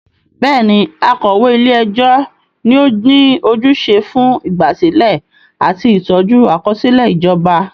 Bẹ́ẹ̀ni, akọ̀wé ilé ẹjọ́ ni ó ní ojúṣe fún ìgbàsílẹ̀ àti ìtọ́jú àkọsílẹ̀ ìjọba.